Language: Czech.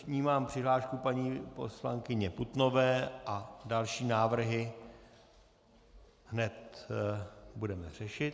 Vnímám přihlášku paní poslankyně Putnové a další návrhy hned budeme řešit.